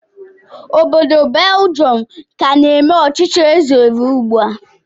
Obodo Beljọm ka na-eme ọchịchị eze ruo ugbu a